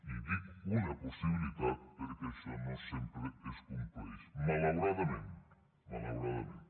i dic una possibilitat perquè això no sempre es compleix malauradament malauradament